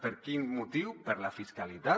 per quin motiu per la fiscalitat